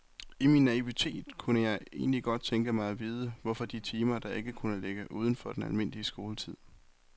I min naivitet kunne jeg egentlig godt tænke mig at vide, hvorfor de timer ikke kunne ligge uden for den almindelige skoletid.